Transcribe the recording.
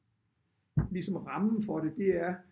Ligesom rammen for det det er